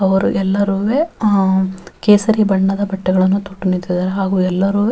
ಅವರು ಎಲ್ಲರುವೆ ಅಹ್ ಕೇಸರಿ ಬಣ್ಣದ ಬಟ್ಟೆಗಳನ್ನು ತೊಟ್ಟು ನಿಂತಿದ್ದಾರೆ ಹಾಗು ಎಲ್ಲರುವೆ --